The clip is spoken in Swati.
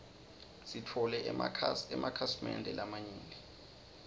sitfole emakhasi mende lamanyenti